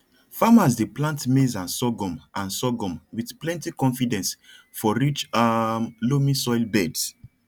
farmas dey plant maize and sorghum and sorghum with plenty confidence for rich um loamy soil beds